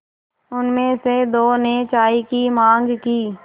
उनमें से दो ने चाय की माँग की